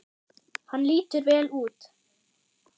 Hann lítur vel út